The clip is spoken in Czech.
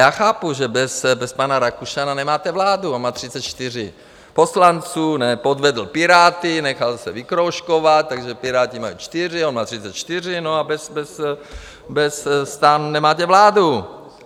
Já chápu, že bez pana Rakušana nemáte vládu, on má 34 poslanců, podvedl Piráty, nechal se vykroužkovat, takže Piráti mají 4, on má 34, no a bez STANu nemáte vládu.